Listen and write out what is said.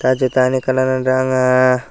tay je dagenni ekkan agey dangya.